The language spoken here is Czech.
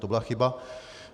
To byla chyba.